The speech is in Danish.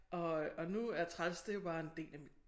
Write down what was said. Og øh og nu er træls det jo bare en del af mit